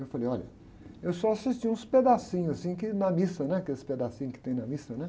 Eu falei, olha, eu só assisti uns pedacinhos assim que, na missa, né? Aqueles pedacinhos que tem na missa, né?